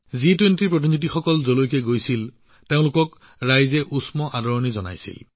জি২০ প্ৰতিনিধিসকল যতেই গৈছে মানুহে তেওঁলোকক উষ্ম আদৰণি জনাইছে